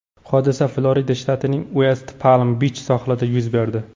Hodisa Florida shtatining Uest-Palm-Bich sohilida yuz berdi.